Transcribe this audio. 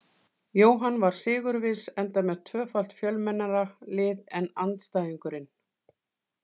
Jóhann var sigurviss, enda með tvöfalt fjölmennara lið en andstæðingurinn.